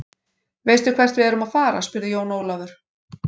Veistu hvert við erum að fara, spurði Jón Ólafur.